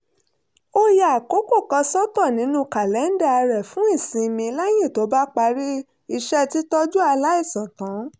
ó ya àkókò kan sọ́tọ̀ nínú kàlẹ́ńdà rẹ̀ fún ìsinmi lẹ́yìn tó bá parí iṣẹ́ títọ́jú aláìsàn tán